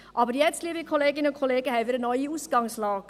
Aber jetzt haben wir eine neue Ausgangslage.